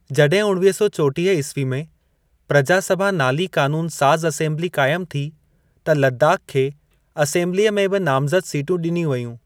जॾहिं उणिवीह सौ चोटीह ईस्वी में प्रजा सभा नाली क़ानूनु साज़ असेम्बिली क़ाइमु थी त लदाख़ खे असेम्बिलीअ में ॿि नामज़द सीटूं ॾिनियूं वयूं।